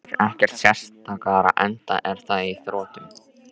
Ég býð þér ekkert sterkara, enda er það á þrotum.